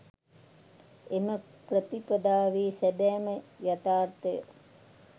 එම ප්‍රතිපදාවේ සැබෑම යථාර්ථය